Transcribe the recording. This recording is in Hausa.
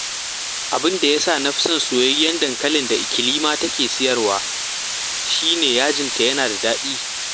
Abin da ya sa na fi son soyayyen dankalin da Ikilima take sayarwa shi ne, yajinta yana da daɗi